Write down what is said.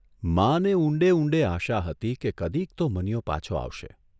માને ઊંડે ઊંડે આશા હતી કે કદીક તો મનીયો પાછો આવશે.